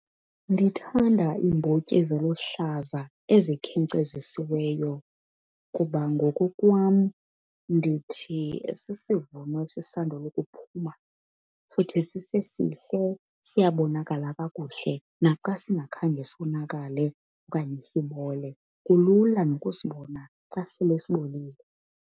Ndithanda iimbotyi eziluhlaza ezikhenkcezisiweyo kuba ngokokwam ndithi sisivuno esisandula ukuphuma, futhi sisesihle siyabonakala kakuhle naxa singakhange sonakale okanye sibole, kulula nokusibona xa sele sibolile.